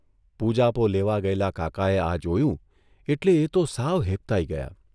પૂજાપો લેવા ગયેલા કાકાએ આ જોયું એટલે એ તો સાવ હેબતાઇ ગયા.